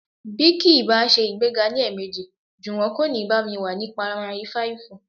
Bí kì í bá ṣe ìgbéga ní ẹ̀ẹ̀mejì, Jùwọ́n kò ní bá mi wá ní pamari fáìfù